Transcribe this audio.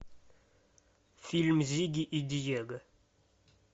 фильм зигги и диего